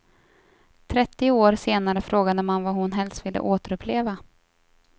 Trettio år senare frågade man vad hon helst ville återuppleva.